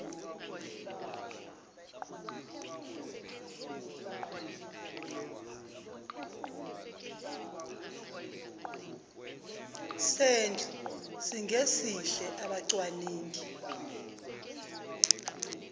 sendlu singesihle abacwaningi